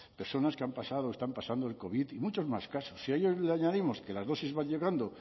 personas que han pasado o están pasando el covid y muchos más casos si a ello le añadimos que las dosis